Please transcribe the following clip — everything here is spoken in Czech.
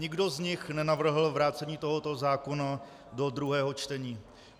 Nikdo z nich nenavrhl vrácení tohoto zákona do druhého čtení.